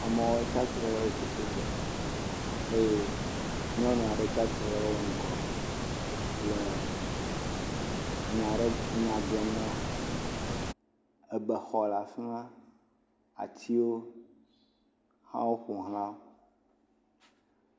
Amewo tsi atsitre ɖe wototo gbe eye nyɔnu aɖe tsi atsitre ɖe wo ŋgɔ le enya ɖe anya gblɔm na wo, ebexɔ le afi ma, atiwo hã woƒoxlawo.